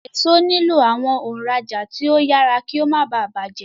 Èso nilo awọn òǹrajà tí o yàrá kí o má bá bàjé.